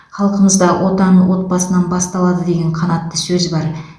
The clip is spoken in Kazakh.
халқымызда отан отбасынан басталады деген қанатты сөз бар